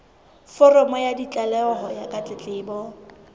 foromo ya tlaleho ya ditletlebo